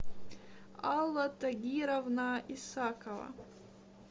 алла тагировна исакова